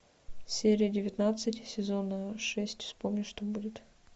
серия девятнадцать сезона шесть вспомни что будет